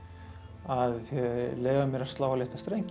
að leyfa mér að slá á létta strengi